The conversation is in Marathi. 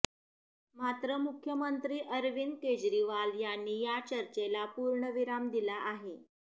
मात्र मुख्यमंत्री अरविंद केजरीवाल यांनी या चर्चेला पूर्णविराम दिला आहे